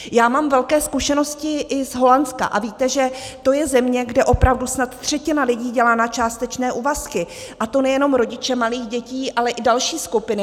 Já mám velké zkušenosti i z Holandska, a víte, že to je země, kde opravdu snad třetina lidí dělá na částečné úvazky, a to nejenom rodiče malých dětí, ale i další skupiny.